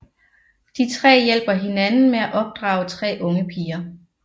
De tre hjælper hinanden med at opdrage tre unge piger